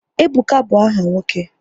Ebuka bụ áhà nwoke